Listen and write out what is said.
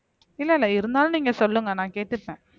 இல்ல இல்ல இருந்தாலும் நீங்க சொல்லுங்க நான் கேட்டுப்பேன்